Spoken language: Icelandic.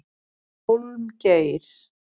Hólmgeir